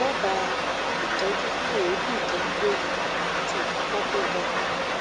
dábàá ìtọjú fún èébì tó ń gbéni àti ìfúnpá tó ga